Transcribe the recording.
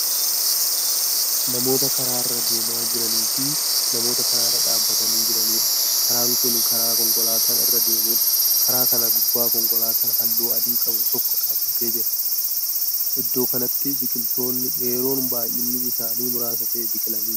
Namoota karaarra deemaa jiranii Fi namoota karaarra dhaabatanii jiraniidha. karaan Kuni karaa konkolaataan irra deemudha. karaa kana gubbaa konkolaataan halluu adii qabu tokko dhaabatee jirta. iddoo kanatti biqiltoonni dheeroon baay'inni isaanii muraasa ta'e biqilanii jiru.